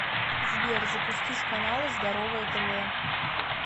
сбер запустить каналы здоровое тв